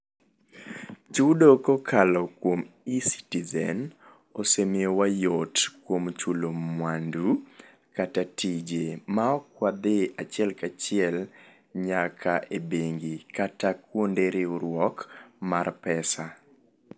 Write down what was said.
Chudo kokal kuom Ecitizen osemiyo wa yot kuom chulo mwandu kata tije, ma ok wadhi achiel ka achiel nyaka e bengi kata kuonde riwruok mar pesa.